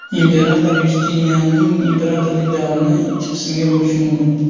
Imperator Yustinianning imperatorlik davrini ikki qismga bo‘lish mumkin.